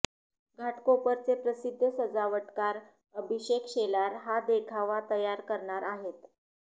घाटकोपरचे प्रसिद्ध सजावटकार अभिषेक शेलार हा देखावा तयार करणार अाहेत